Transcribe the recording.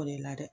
O de la dɛ